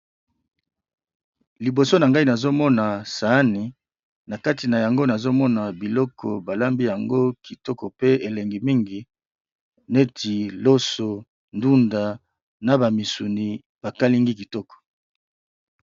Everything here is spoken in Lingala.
Liboso na ngai nazomona saani na kati na yango nazomona biloko balambi yango kitoko pe elengi mingi neti loso, ndunda na ba misuni ba kalingi kitoko.